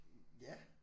Ja